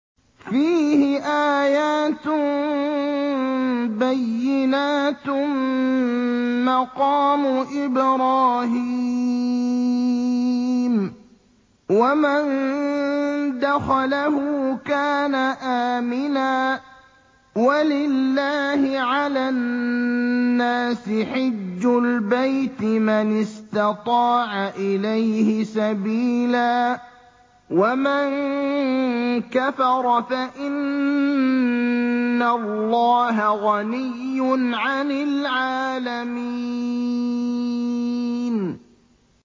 فِيهِ آيَاتٌ بَيِّنَاتٌ مَّقَامُ إِبْرَاهِيمَ ۖ وَمَن دَخَلَهُ كَانَ آمِنًا ۗ وَلِلَّهِ عَلَى النَّاسِ حِجُّ الْبَيْتِ مَنِ اسْتَطَاعَ إِلَيْهِ سَبِيلًا ۚ وَمَن كَفَرَ فَإِنَّ اللَّهَ غَنِيٌّ عَنِ الْعَالَمِينَ